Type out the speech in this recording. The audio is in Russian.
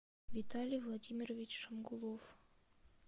виталий владимирович шамгулов